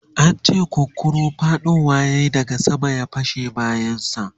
an ce kunkuru faɗowa yayi daga sama ya fasa bayan sa